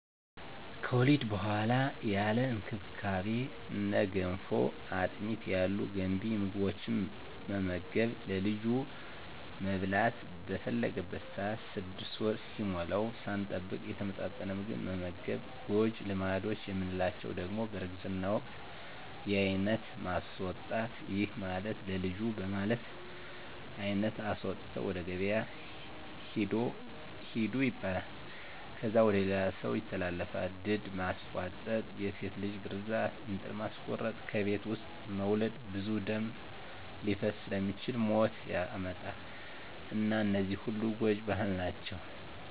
ከወሊድ በኋላ ያለ እንክብካቤ እነ ገንፎ፣ አጥሚት ያሉ ገንቢ ምግቦትን መመገብ፣ ለልጁ መብላት በፈለገበት ሰአት 6 ወር እስኪሞላዉ ሳንጠብቅ የተመጣጠነ ምግብ መመገብ። ጎጂ ልማዶች የምንላቸዉ ደሞ በእርግዝና ወቅት የአይነት ማስወጣት ይህም ማለት ለልጁ በማለት አይነት አስወጥተዉ ወደ ገበያ ሂዱ ይባላል። ከዛ ወደ ሌላ ሰዉ ይተላለፋል፣ ድድ ማስቧጠጥ፣ የሴት ልጅ ግርዛት፣ እንጥል ማስቆረጥ፣ ከቤት ዉስጥ መዉለድ ብዙ ደም ሊፈስ ስለሚችል ሞት ያመጣል እና እነዚህ ሁሉ ጎጂ ባህል ናቸዉ።